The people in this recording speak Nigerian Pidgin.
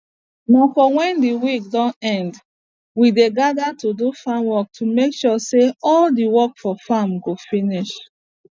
na for wen de week don end we dey geda to do farm work to make sure say all de work for farm go finish